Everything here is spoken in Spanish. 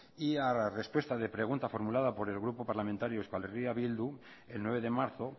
y a respuesta de pregunta formulada por el grupo parlamentario eh bildu el nueve de marzo